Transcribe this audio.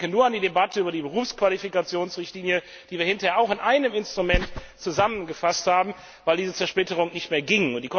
Ich denke nur an die Debatte über die Berufsqualifikationsrichtlinie, die wir hinterher auch in einem Instrument zusammengefasst haben, weil diese Zersplitterung nicht mehr ging.